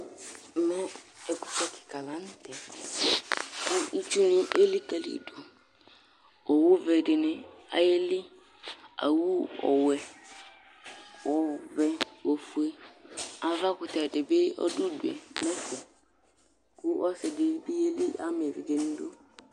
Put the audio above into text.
ɛmɛ ɛkutɛ keka lantɛ kò itsu ni elikali do owu be di ni ayeli owu ɔwɛ ɔvɛ ofue avakutɛ di bi ɔdo udue n'ɛfɛ kò ɔse di bi yeli ama evidze n'idu